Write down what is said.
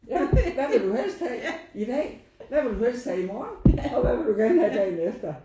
Ja hvad vil du helst have i dag? Hvad vil du helst have i morgen? Og hvad vil du have dagen efter?